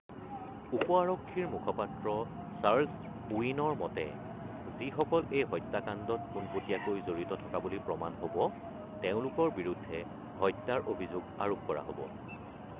উপ আৰক্ষীৰ মুখপাত্ৰ চাৰ্লছ ওৱিনোৰ মতে, যিসকল এই হত্যাকাণ্ডত পোনপটীয়াকৈ জড়িত থকা বুলি প্ৰমাণ হ'ব তেওঁলোকৰ বিৰুদ্ধে হত্যাৰ অভিযোগ আৰোপ কৰা হ'ব।